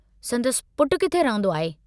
संदसि पुटु किथे रहंदो आहे?